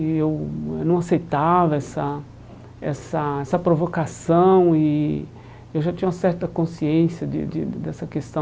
E eu eh não aceitava essa essa essa provocação e eu já tinha uma certa consciência de de de dessa questão